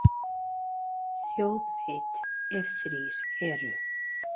Þjóð veit, ef þrír eru.